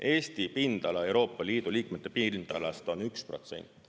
Eesti pindala Euroopa Liidu liikmete pindalast on 1%.